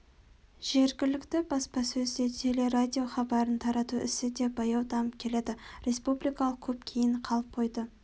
жергілікті баспасөз де телерадиохабарын тарату ісі де баяу дамып келеді республикалық көп кейін қалып қойды